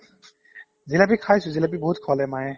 জিলাপী খাইছো জিলাপী বহুত খোৱালে মায়ে